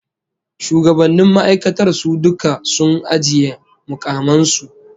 Shugabannnin ma'aikatar su duka sun ajiye mukaman su